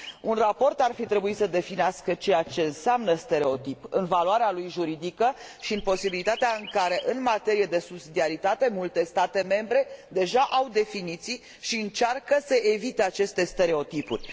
Un raport ar fi trebuit să definească ceea ce înseamnă stereotip în valoarea lui juridică și în posibilitatea în care, în materie de subsidiaritate, multe state membre au deja definiții și încearcă să evite aceste stereotipuri.